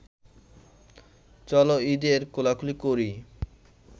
চল ঈদের কোলাকুলি করি